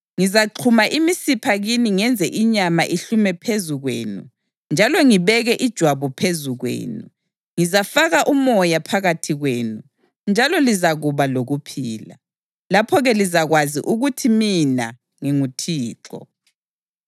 Ngizaxhuma imisipha kini ngenze inyama ihlume phezu kwenu njalo ngibeke ijwabu phezu kwenu; ngizafaka umoya phakathi kwenu, njalo lizakuba lokuphila. Lapho-ke lizakwazi ukuthi mina nginguThixo.’ ”